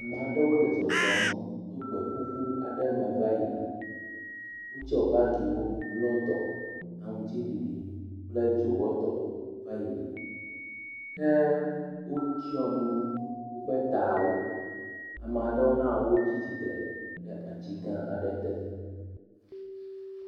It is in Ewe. Ame aɖewo le zɔzɔm to gbeƒuƒu aɖe me va yina. Wotsɔ bagiwo ble dɔ aŋtiɖiɖi kple dzowɔtɔ va yina. Ke wotsɔ nu woƒe tawo. Ame aɖewo hã wotsi tsitre ɖe ati gã aɖe te